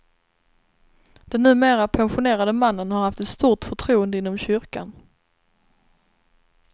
Den numera pensionerade mannen har haft ett stort förtroende inom kyrkan.